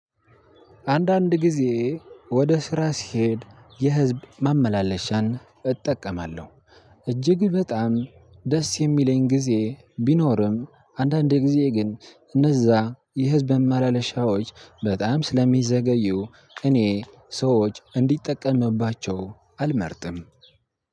አንዳንድ ጊዜ ወደ ስራ ስሄድ የህዝብ ማመላለሻን እጠቀማለሁ። እጅግ በጣም ደስ የሚለኝ ጊዜ ቢኖርም አንዳንዴ ጊዜ ግን እነዛ የህዝብ ማማላለሻዎች በጣም ስለሚዘገዩ እኔ ሰዎች እንዲጠቀምባቸው አልመርጥም።